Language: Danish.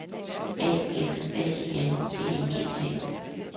A F S I N D I G T